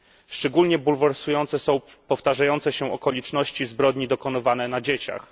Szczególnie bulwersujące są powtarzające się okoliczności zbrodni dokonywanych na dzieciach.